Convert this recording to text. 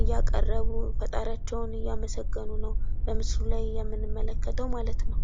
እያቀረቡ ፈጣሪያቸውን እያመሰገኑ ነው በምስሉ ላይ የምንመለከተው ማለት ነው።